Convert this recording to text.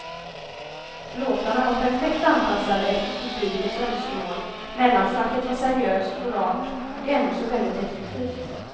Låtarna var perfekt anpassade efter publikens önskemål, mellansnacket var seriöst och rart och ändå så väldigt effektivt.